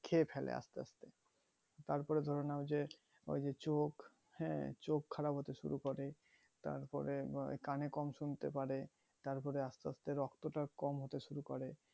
খেয়ে ফেলে আস্তে আস্তে তারপরে ধরে নাও যে তারপর চোখ হ্যাঁ চোখ খারাপ হতে শুরু করে তারপরে বাহ কানে কম শুনতে পারে তারপরে আস্তে আস্তে রক্তটা কম হতে শুরু করে